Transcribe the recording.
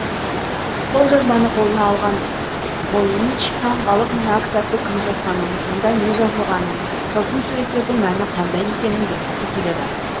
қолжазбаны қолына алған войнич таңғалып мына кітапты кім жазғанын онда не жазылғанын тылсым суреттердің мәні қандай екенін білгісі келеді